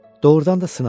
Doğrudan da sınadı.